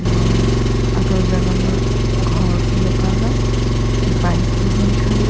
और अगल बगल घौर छिन लुखा का बाइक भी हुयीं खड़ीं।